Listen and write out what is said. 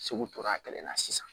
Segu tora kelen na sisan